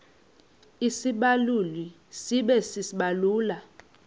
isibaluli sibe sisibaluli